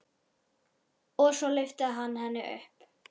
Og svo lyfti hann henni upp.